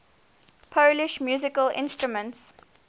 polish musical instruments